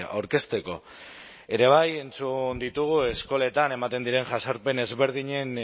aurkezteko ere bai entzun ditugu eskoletan ematen diren jazarpen ezberdinen